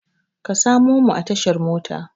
Ka samo mu a tashar motan